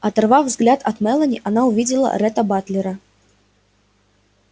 оторвав взгляд от мелани она увидела ретта батлера